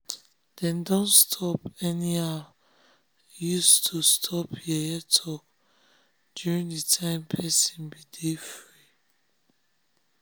dem don stop anyhow use to stop yeye talk during d time person be de free